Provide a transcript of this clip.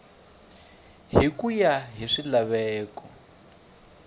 hi ku ya hi swilaveko